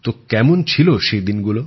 কেমন ছিল সেই দিনগুলো